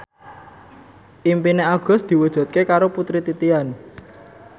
impine Agus diwujudke karo Putri Titian